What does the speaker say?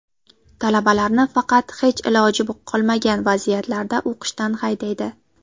Talabalarni faqat hech iloji qolmagan vaziyatlarda o‘qishdan haydaydi.